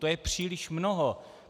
To je příliš mnoho.